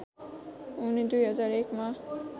उनी २००१ मा